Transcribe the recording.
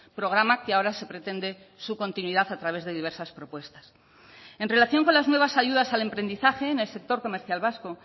programa que ahora se pretende su continuidad a través de diversas propuestas en relación con las nuevas ayudas al emprendizaje en el sector comercial vasco